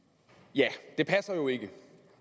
ja det passer jo ikke